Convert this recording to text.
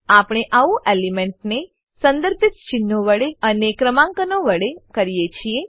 આપણે આવું એલિમેન્ટ ને સંદર્ભિત ચિન્હો વડે અને ક્રમાંકો વડે કરીએ છીએ